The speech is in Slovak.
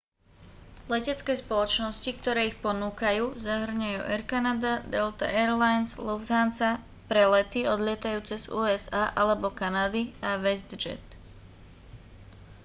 letecké spoločnosti ktoré ich ponúkajú zahŕňajú air canada delta air lines lufthansa pre lety odlietajúce z usa alebo kanady a westjet